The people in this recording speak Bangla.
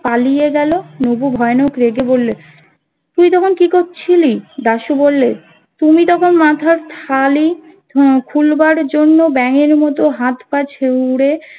পালিয়ে গেল নবু ভয়ানক রেগে বলল তুই তখন কি করছিলি দাশু বললে তুমি তখন মাথার থালি খুলবার জন্য ব্যাঙের মতো হাত পায়ে ছুড়ে